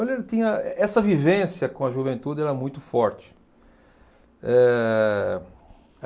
ele tinha eh essa vivência com a juventude era muito forte. Eh